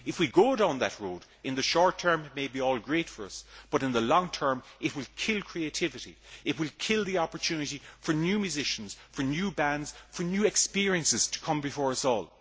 If we go down that road, in the short term it may be all great for us, but in the long term it will kill creativity, it will kill the opportunity for new musicians, new bands and new experiences to come before us all.